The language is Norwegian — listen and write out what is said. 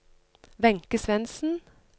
Wenche Svendsen